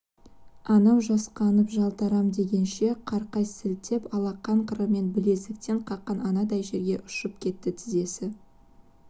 анау жасқанып жалтарам дегенше қырқай сілтеп алақан қырымен білезіктен қаққан анандай жерге ұшып кетті тізесі